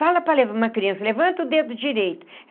Fala para uma criança, levanta o dedo direito.